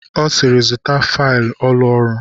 Ọ sịịrị, zụta failụ ụlọ ọrụ!